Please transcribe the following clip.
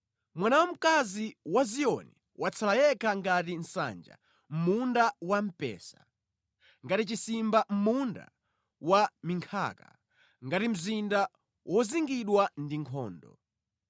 Mwana wamkazi wa Ziyoni watsala yekha ngati nsanja mʼmunda wampesa, ngati chisimba mʼmunda wa minkhaka, ngati mzinda wozingidwa ndi nkhondo.